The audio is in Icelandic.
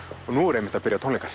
og nú eru einmitt að byrja tónleikar